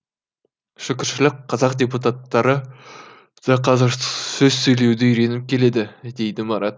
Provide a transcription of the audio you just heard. шүкіршілік қазақ депутаттары да қазір сөз сөйлеуді үйреніп келеді дейді марат